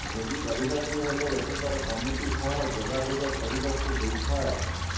ଭୋଜି କରିବାକୁ ହେଲେ ଏଠାକାର କମିଟି ସହ ଯୋଗାଯୋଗ କରିବାକୁ ହୋଇଥାଏ